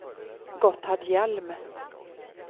Gotthard Hjelm